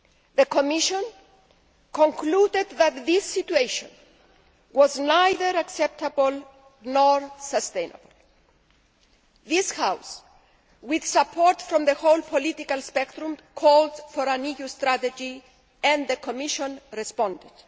The Commission concluded that this situation was neither acceptable nor sustainable. This House with support from the whole political spectrum called for an EU Strategy and the Commission responded.